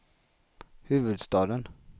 huvudstaden